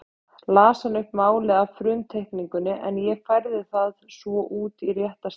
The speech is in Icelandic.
Las hann upp málið af frumteikningunni en ég færði það svo út í rétta stærð.